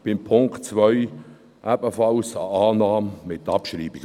Für den Punkt 2 empfehlen wir ebenfalls Annahme, aber mit Abschreibung.